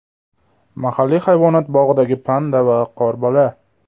Mahalliy hayvonot bog‘idagi panda va qorbola.